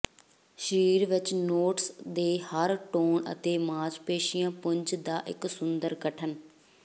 ਸਰੀਰ ਵਿੱਚ ਨੋਟਸ ਦੇ ਹਰ ਟੋਨ ਅਤੇ ਮਾਸਪੇਸ਼ੀ ਪੁੰਜ ਦਾ ਇੱਕ ਸੁੰਦਰ ਗਠਨ